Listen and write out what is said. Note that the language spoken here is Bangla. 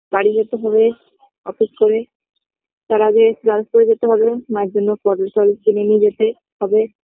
বাড়ি যেতে হবে office করে তার আগে class করে যেতে হবে মাএর জন্যে পটল টটল কিনে নিয়ে যেতে হবে